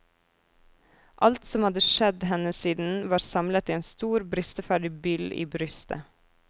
Alt som hadde skjedd henne siden var samlet i en stor bristeferdig byll i brystet.